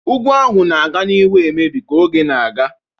Ugwu ahụ ga-aga n'ihu na-emebi ka oge na-aga.